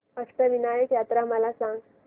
अष्टविनायक यात्रा मला सांग